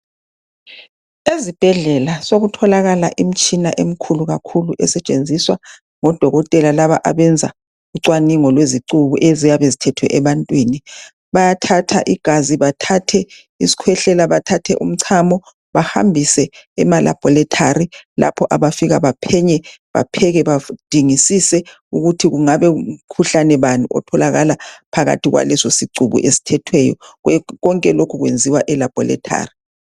ezibhedlela sokutholakala imitshina emkhulu kakhulu esetshenziswa ngo dokotela laba abenza ucwaningo lwezicuku eziyabe zithethwe ebantwini bayathatha igazi bathathe isikwehlela bathathe umchamo bahambise ema laboratory lapho abafika baphenye bapheke baphengisise ukuthi ungabe umkhuhlane bani otholakala phakathi kwaleso sicuku esithethweyo konke lokhu kwenziwa e laboratory